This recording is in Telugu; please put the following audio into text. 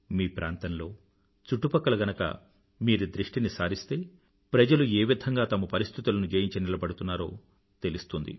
మీ ప్రాంతంలో చుట్టుపక్కల గనుక మీరు దృష్టిని సారిస్తే ప్రజలు ఏ విధంగా తమ పరిస్థితులను జయించి నిలబడుతున్నారో తెలుస్తుంది